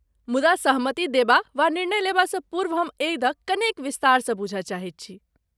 मुदा सहमति देबा वा निर्णय लेबासँ पूर्व हम एहि दऽ कनेक विस्तारसँ बूझय चाहैत छी।